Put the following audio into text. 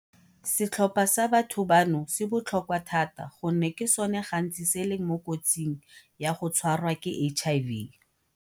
Setlhopha sa batho bano se botlhokwa thata gonne ke sone gantsi se leng mo kotsing ya go tshwarwa ke HIV.